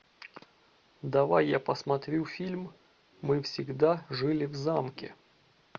давай я посмотрю фильм мы всегда жили в замке